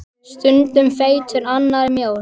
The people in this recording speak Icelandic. Stundum feitur, annars mjór.